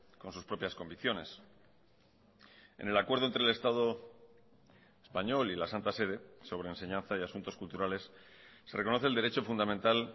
con sus propias convicciones en el acuerdo entre el estado español y la santa sede sobre enseñanza y asuntos culturales se reconoce el derecho fundamental